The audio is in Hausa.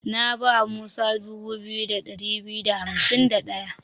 Na ba Musa 2251.